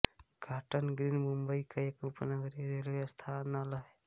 cotton Green Mumbai का एक उपनगरीय रेलवे स्थानल है